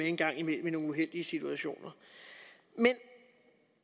en gang leve med nogle uheldige situationer men